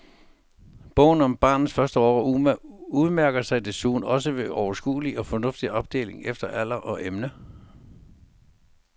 Bogen om barnets første år udmærker sig desuden også ved sin overskuelige og fornuftige opdeling efter alder og emne.